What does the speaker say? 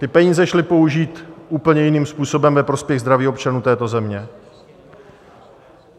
Ty peníze šly použít úplně jiným způsobem ve prospěch zdraví občanů této země.